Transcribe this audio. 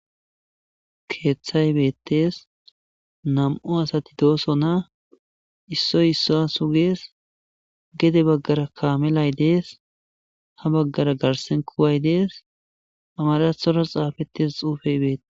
Keeththay beeththees; nam7u asathi doosona; issoy isssuwa sugees; gede baggaarakka kaamelay dees; habaggaara garssen kuway dees; amaaraththoora xaafeththida tsuufee beththees.